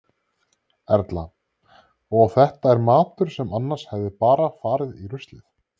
Erla: Og þetta er matur sem annars hefði bara farið í ruslið?